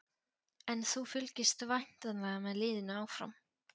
En þú fylgist væntanlega með liðinu áfram?